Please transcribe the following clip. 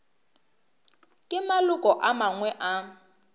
ke maloko a mangwe a